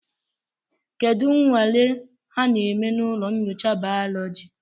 Kedu nnwale ha na-eme na ụlọ nyocha baoloji?